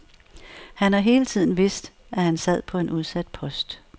Han har hele tiden vidst, at han sad på en udsat post.